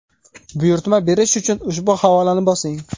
Buyurtma berish uchun ushbu havolani bosing.